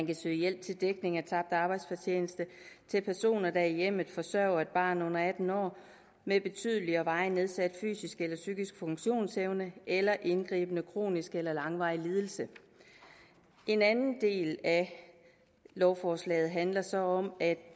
kan søges hjælp til dækning af tabt arbejdsfortjeneste til personer der i hjemmet forsørger et barn under atten år med betydelig og varigt nedsat fysisk eller psykisk funktionsevne eller indgribende kronisk eller langvarig lidelse en anden del af lovforslaget handler så om at